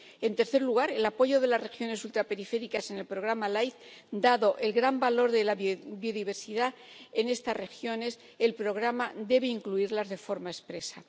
En tercer lugar, el apoyo de las regiones ultraperiféricas en el Programa LIFE dado el gran valor de la biodiversidad en estas regiones, el Programa debe incluirlas de forma expresa.